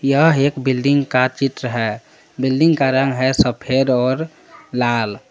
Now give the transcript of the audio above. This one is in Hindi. यह एक बिल्डिंग का चित्र है बिल्डिंग का रंग है सफेद और लाल।